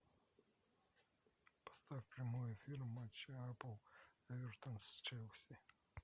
поставь прямой эфир матча апл эвертон с челси